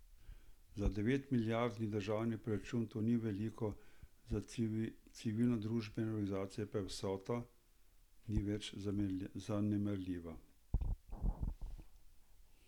Za devetmilijardni državni proračun to ni veliko, za civilnodružbene organizacije pa vsota ni več zanemarljiva.